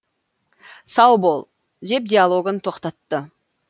сау бол деп диалогын тоқтатты